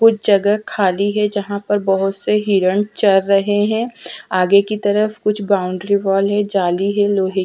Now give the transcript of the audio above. कुछ जगह खाली है जहाँ पर बहोत से हिरण चर रहे है आगे की तरफ कुछ बाउंड्री वाल है जाली है लोहे की --